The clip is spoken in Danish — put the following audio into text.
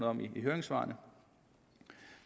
om i høringssvarene